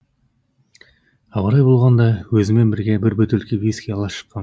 абырой болғанда өзіммен бірге бір бөтелке виски ала шыққам